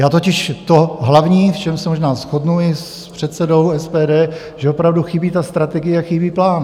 Já totiž to hlavní, v čem se možná shodnu i s předsedou SPD - že opravdu chybí strategie a chybí plán.